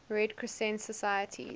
red crescent societies